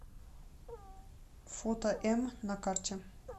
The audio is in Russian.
фото м на карте